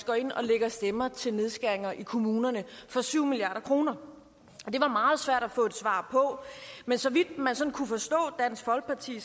går ind og lægger stemmer til nedskæringer i kommunerne for syv milliard kroner og det var meget svært at få et svar på men så vidt man sådan kunne forstå dansk folkeparti